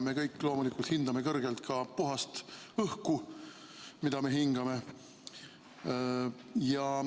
Me kõik loomulikult hindame kõrgelt ka puhast õhku, mida me hingame.